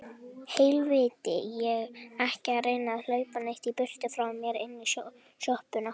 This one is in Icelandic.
Og ekki reyna að hlaupa neitt í burtu frá mér. inn í sjoppuna!